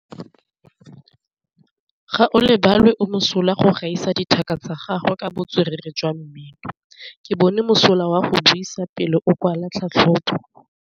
Gaolebalwe o mosola go gaisa dithaka tsa gagwe ka botswerere jwa mmino. Ke bone mosola wa go buisa pele o kwala tlhatlhobô.